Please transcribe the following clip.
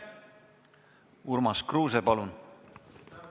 Urmas Kruuse, palun!